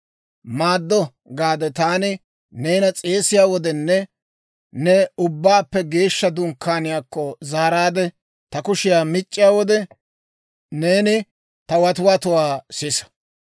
«Maaddo» gaade taani neena s'eesiyaa wodenne ne Ubbaappe Geeshsha Dunkkaaniyaakko zaaraadde, ta kushiyaa mic'c'iyaa wode, neeni ta watiwatuwaa sisa.